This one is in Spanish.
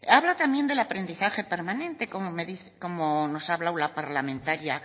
habla también del aprendizaje permanente como nos ha hablado la parlamentaria